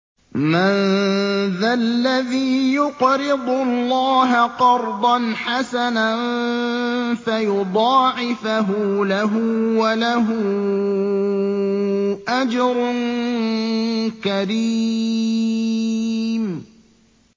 مَّن ذَا الَّذِي يُقْرِضُ اللَّهَ قَرْضًا حَسَنًا فَيُضَاعِفَهُ لَهُ وَلَهُ أَجْرٌ كَرِيمٌ